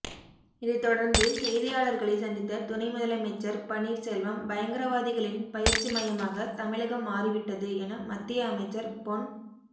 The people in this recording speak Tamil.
இதைதொடர்ந்து செய்தியாளர்களை சந்தித்த துணை முதலமைச்சர் பன்னீர்செல்வம் பயங்கரவாதிகளின் பயிற்சி மையமாக தமிழகம் மாறிவிட்டது என மத்திய அமைச்சர் பொன்